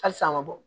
Halisa a ma bɔ